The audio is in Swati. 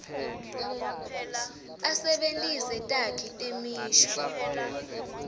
asebentise takhi temisho